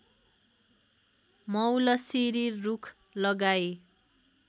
मौलसिरी रूख लगाई